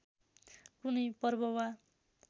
कुनै पर्व वा